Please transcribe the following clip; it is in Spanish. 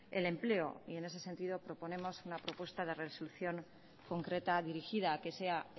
el empleo y en ese sentido proponemos una propuesta de resolución concreta dirigida a que sea